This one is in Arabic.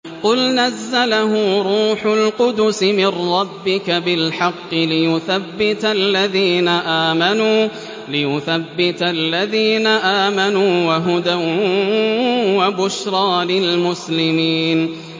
قُلْ نَزَّلَهُ رُوحُ الْقُدُسِ مِن رَّبِّكَ بِالْحَقِّ لِيُثَبِّتَ الَّذِينَ آمَنُوا وَهُدًى وَبُشْرَىٰ لِلْمُسْلِمِينَ